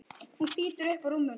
Hann þýtur upp úr rúminu.